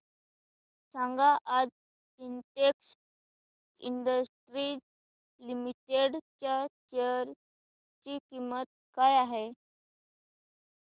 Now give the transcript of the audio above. सांगा आज Sintex industries limited च्या शेअर ची किंमत काय आहे